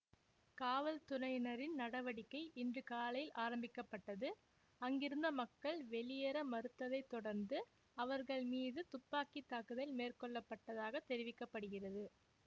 காவல்துறையினரின் நடவடிக்கை இன்று காலை ஆரம்பிக்க பட்டது அங்கிருந்த மக்கள் வெளியேற மறுத்ததைத் தொடர்ந்து அவர்கள் மீது துப்பாக்கித் தாக்குதல் மேற்கொள்ளப்பட்டதாகத் தெரிவிக்க படுகிறது